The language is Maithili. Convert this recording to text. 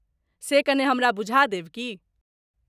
से कने हमरा बुझा देब की?